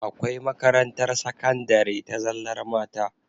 Akwai makarantar sakandari ta zallar mata